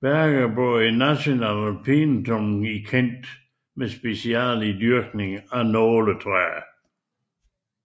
Bedgebury National Pinetum i Kent med speciale i dyrkning af nåletræer